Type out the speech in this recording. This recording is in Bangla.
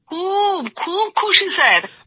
খুব খুব খুশি স্যার